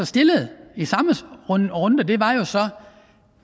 stillede i samme runde var jo så